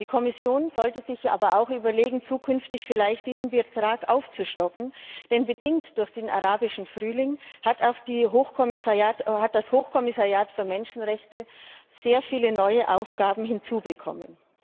Die Kommission sollte sich aber auch überlegen, zukünftig vielleicht diesen Betrag aufzustocken, denn bedingt durch den Arabischen Frühling hat das Hochkommissariat für Menschenrechte sehr viele neue Aufgaben hinzubekommen.